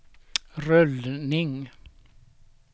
rullning